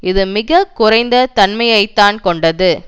இது மிக குறைந்த தன்மையை தான் கொண்டது